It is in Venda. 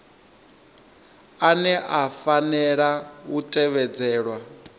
ane a fanela u tevhedzelwa